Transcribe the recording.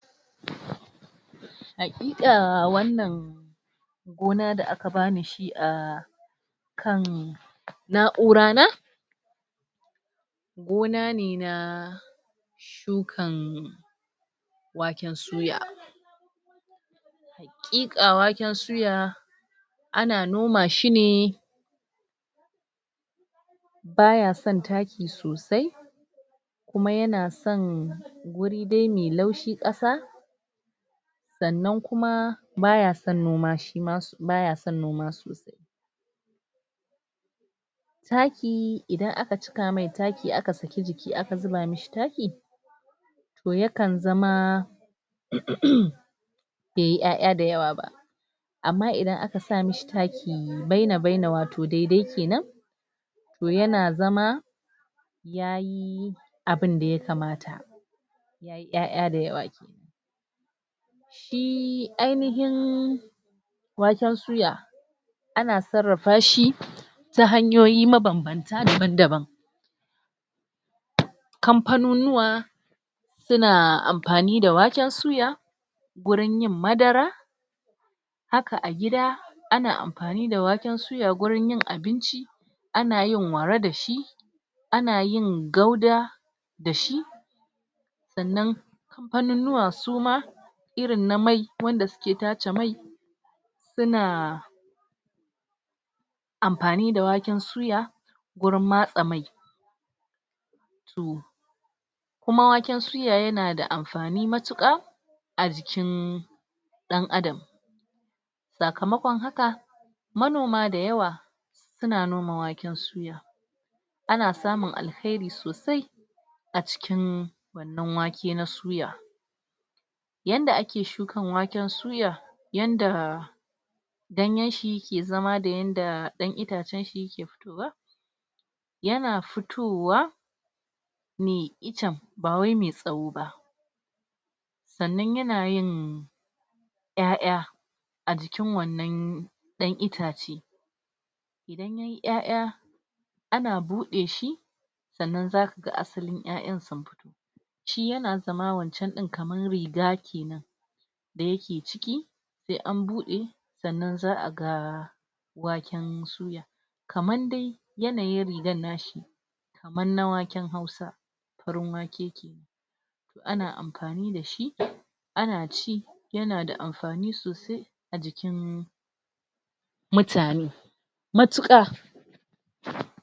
Hakika wannan gona da aka bani shi a shi akan naura ne gona ne na shukan waken suya shukan waken suya, ana noma shi ne baya son taki sosai kuma yana son guri dai mai laushi ƙasa, sannan kuma baya son noma shima-baya son noma sosai, taki idan aka cika masa taki aka saki jiki aka zuba mishi taki to ya kan zama baiyi ya'ya da yawa ba amma idan aka sa mishintaki baina-baina wato daidai kenan yana zama ya yi abinda ya kamata ya'ya da yawa kenan, shi ainihin waken suya ana sarrafa shi ta hanyoyi mabanbanta daban kamfaninnuwa suna amfani da waken suya gurin yin madara haka a gida ana amfani da waken suya gurin abinci ana yin wara dashi ana yin gauda dashi sannan kamfaninnuwa suma irin na mai wanda suke tace mai suna suna amfani da waken suya gurin matsa mai?? kuma waken suya yana da amfani mutuka a jikin dan adam. sakamakon haka manomada yawa suna noma waken suya, ana samun alheri sosai a cikin wannan wake na suya. Yanda ake shukan waken suya, yanda ganyenshi ke zama da yanda dan itacenshi ke fitowa, yana fitowa ne icen ba wai mai tsawo ba sannan yana yin 'y'a'ya a cikin wannan dan itace 'ya'ya ana bude shi sannan zaka ga asalin yayan sun fito shi yana zama wancan din kamar riga kenan da yake ciki sai an bude sannan za'a ga waken suya kaman dai yanayin rigan nashi kaman na waken hausa, farin wake kenan ana amfani dashi ana ci yana da amfani sosai a jikin mutane mutuka.